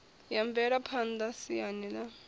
ya mvelaphan ḓa siani ḽa